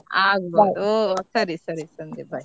ಆಗ್ಬೋದು ಸರಿ ಸರಿ ಸಂಧ್ಯಾ bye .